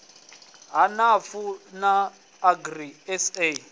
ha nafu na agri sa